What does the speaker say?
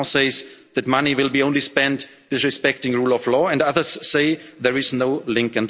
Macron says that money will be only spent while respecting rule of law and others say there is